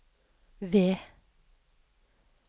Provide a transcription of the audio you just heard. V